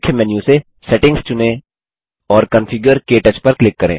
मुख्य मेन्यू से सेटिंग्स चुनें और कॉन्फिगर - क्टच पर क्लिक करें